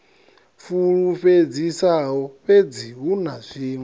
fulufhedzisaho fhedzi hu na zwiṅwe